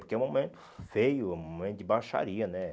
Porque é um momento feio, é um momento de baixaria, né?